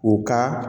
U ka